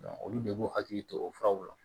olu de b'u hakili to o furaw la